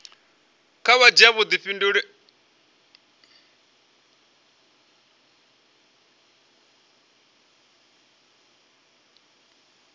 kha vha dzhia vhudifhinduleli ha